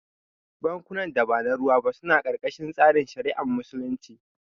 Bankunan da ba na ruwa ba suna karkashin tsarin shari'ar Musulunci